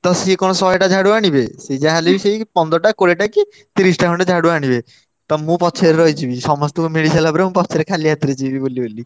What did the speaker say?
ତ ସିଏ କଣ ଶହେଟା ଝାଡୁ ଆଣିବେ ସିଏ ଯାହାହେଲେବି ସେଇ ପନ୍ଦରଟା କୋଡିଏଟା କି ତିରିଶିଟା ଖଣ୍ଡେ ଝାଡୁ ଆଣିବେ। ତ ମୁଁ ପଛରେ ରହିଯିବି ସମସ୍ତଙ୍କୁ ମିଳିସାଇଲା ପରେ ମୁଁ ପଛରେ ଖାଲି ହାତରେ ଯିବି ବୁଲିବୁଲି।